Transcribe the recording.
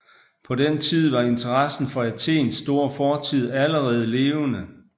På den tid var interessen for Athens store fortid allerede levende